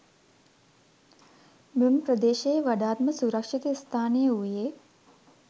මෙම ප්‍රදේශයේ වඩාත්ම සුරක්ෂිත ස්ථානය වූයේ